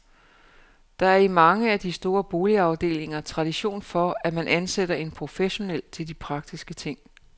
Der er i mange af de store boligafdelinger tradition for, at man ansætter en professionel til de praktiske ting.